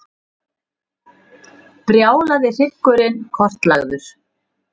Brjálaði hryggurinn kortlagður